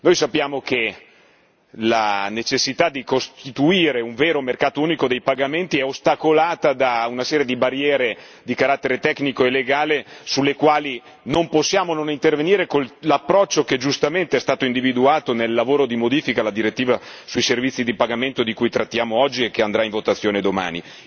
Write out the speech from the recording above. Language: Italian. Noi sappiamo che la necessità di costituire un vero mercato unico dei pagamenti è ostacolata da una serie di barriere di carattere tecnico e legale sulle quali non possiamo non intervenire con l'approccio che giustamente è stato individuato nel lavoro di modifica alla direttiva sui servizi di pagamento di cui trattiamo oggi e che andrà in votazione domani.